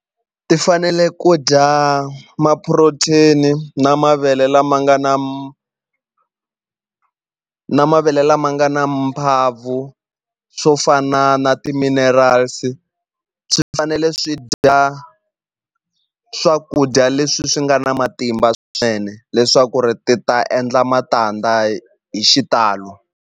Ti fanele ku dya ma-protein na mavele lama nga na na mavele lama nga na swo fana na ti-minerals swi fanele swi dya swakudya leswi swi nga na matimba swinene leswaku ri ti ta endla matandza hi xitalo.